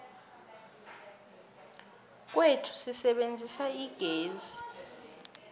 kwethu sisebenzisa igezi